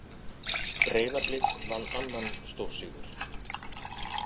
Breiðablik vann annan stórsigur